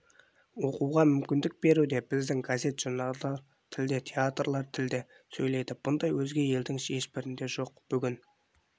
оқуға мүмкіндік беруде біздің газет-журналдар тілде театрлар тілде сөйлейді бұндай өзге елдің ешбірінде жоқ бүгін